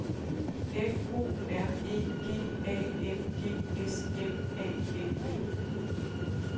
F O R E G A N G S M A N D